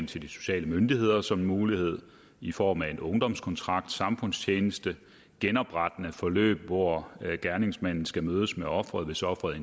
til de sociale myndigheder som en mulighed i form af en ungdomskontrakt samfundstjeneste genoprettende forløb hvor gerningsmanden skal mødes med offeret hvis offeret